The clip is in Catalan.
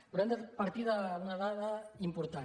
però hem de partir d’una dada important